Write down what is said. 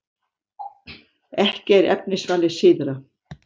Ekki er efnisvalið síðra.